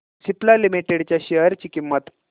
Cipla limited च्या share ची किंमत